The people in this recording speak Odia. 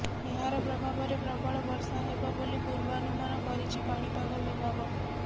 ଏହାର ପ୍ରଭାବରେ ପ୍ରବଳ ବର୍ଷା ହେବ ବୋଲି ପୂର୍ବାନୁମାନ କରିଛି ପାଣିପାଗ ବିଭାଗ